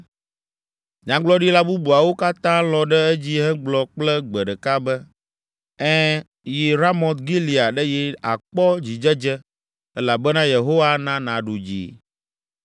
Nyagblɔɖila bubuawo katã lɔ̃ ɖe edzi hegblɔ kple gbe ɖeka be, “Ẽ, yi Ramot Gilead eye àkpɔ dzidzedze elabena Yehowa ana nàɖu dzi.”